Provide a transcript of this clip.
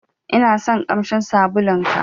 Inason ƙamshin sabulun ka.